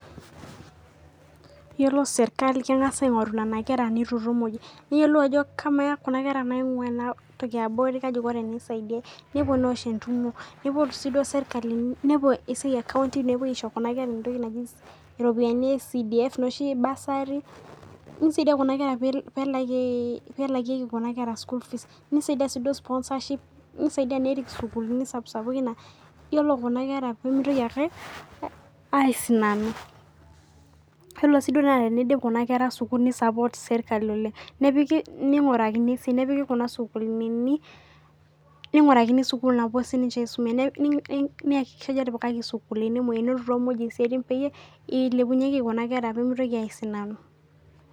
Yiolo sirkali kengas aingoru nena kera naitutum muj. Neyiolou ajo kamaa kuna kera naingua enatoki eabori kaji eikoni tenisidiae. Nepoti sii entumo neponu sirkali ekaounty nepoi aisho kuna kera entoki naji ropiyiani e CDF noshi bursary nisaidia Kuna kera pee elakikei school fees, nisaidia sponsorship, nisaidia nerikoo sukuulini sapukin. Yiolo Kuna kera pee mitoki aisinanu yiolo sii teneidip Kuna kera sukuulini nisapoort sirkali oleng. Nepiki kuna sukuulini ningurakini sukul napuo siininche aisuma .Neakikishai ajo etipikaki sukuulini nenotito muj siaitin kuna kera pee mitoki aisinanu.